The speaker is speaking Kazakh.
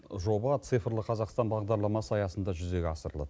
жоба цифрлық қазақтан бағдарламасы аясында жүзеге асырылады